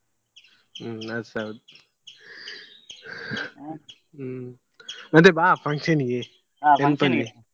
ಹ್ಮ್ ಸರಿ ಹ್ಮ್‌ ಮತ್ತೆ ಬಾ function ಗೆ .